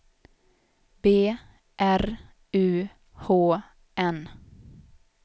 B R U H N